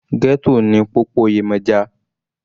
Ghetto ni popoyemoja.